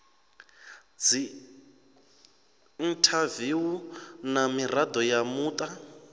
dziinthaviwu na mirado ya muta